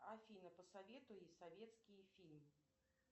афина посоветуй советский фильм